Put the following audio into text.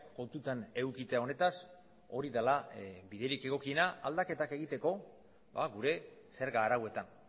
kontutan edukita honetaz hori dela biderik egokiena aldaketak egiteko gure zerga arauetan